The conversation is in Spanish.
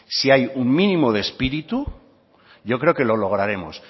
si hay un mínimo de espíritu lo lograremos